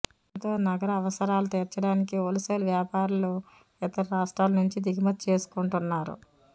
దీంతో నగర అవసరాలు తీర్చడానికి హోల్సేల్ వ్యాపారులు ఇతర రాష్ట్రాల నుంచి దిగుమతి చేసుకుంటున్నారు